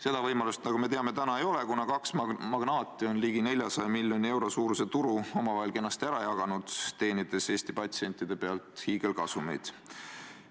Seda võimalust, nagu me teame, praegu ei ole, kuna kaks magnaati on ligi 400 miljoni euro suuruse turu omavahel kenasti ära jaganud, teenides Eesti patsientide pealt hiigelkasumeid.